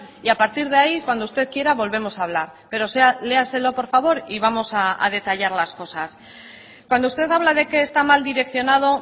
y a partir de ahí cuando usted quiera volvemos a hablar pero léaselo por favor y vamos a detallar las cosas cuando usted habla de que está mal direccionado